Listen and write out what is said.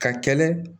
Ka kɛlɛ